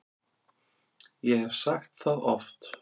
Ég hef sagt það oft.